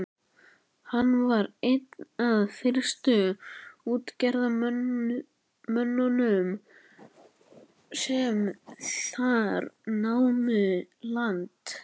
Hann var einn af fyrstu útgerðarmönnunum sem þar námu land.